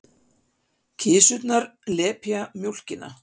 Kisurnar lepja mjólkina.